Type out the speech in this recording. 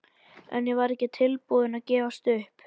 En ég var ekki tilbúin að gefast upp.